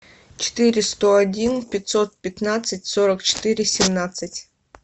четыре сто один пятьсот пятнадцать сорок четыре семнадцать